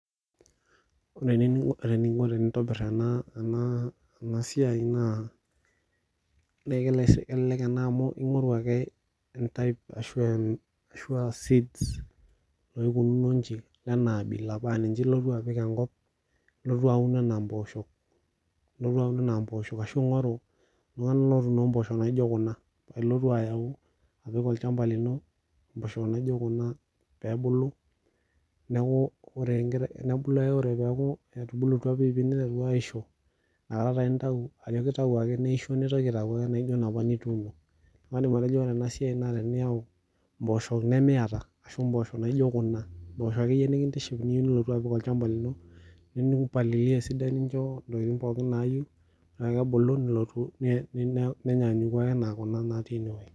Ore eninko tenintobir ena siai naa kelelek ena amu ingoru ake entype ashua seeds naikununo nji ashua enabila paa ninche ilotu apik enkop ilotu aun enaa mpoosho aashu ingoru mpooshok naijo kuna paa ilotu apik enkop ino pee ebulu niaku ore ake pee ebulu piipi nintayu neisho nintoki ake apik naijo napa ake nituuno kadim atejo ore ena siai naa indim ayau mpoosho nemiata naijo kuna mpoosho akeyie niyieu nilotu apik olchamba lino nimpalilia esidai nincho ntokitin akeyie pookin nayieu kake ebulu nenyanyuku okuna natii ene wueji